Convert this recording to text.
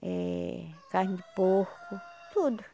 é carne de porco, tudo.